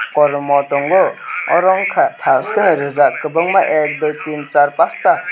kormo tongo oro unka taske reejak kwbangma ak dui teen char pasta.